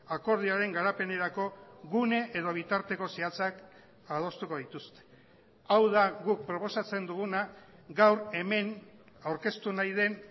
akordioaren garapenerako gune edo bitarteko zehatzak adostuko dituzte hau da guk proposatzen duguna gaur hemen aurkeztu nahi den